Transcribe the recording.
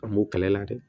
An b'u kala la dɛ